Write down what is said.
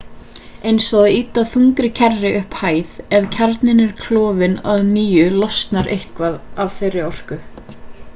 eins og að ýta þungri kerru upp hæð ef kjarninn er klofinn að nýju losnar eitthvað af þeirri orku